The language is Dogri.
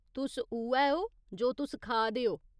तुस उ'ऐ ओ जो तुस खा दे ओ।